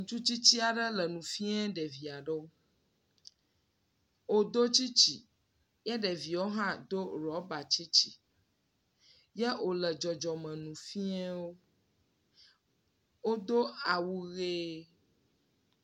Ŋutsu tsitsi aɖewo le nu fia ɖedvia ɖewo. Wodo dzi tsitsi ye ɖevioawohã do rɔba tsitsi. Yea wole dzɔdzɔme nu fia wo. Wodo awu ʋe.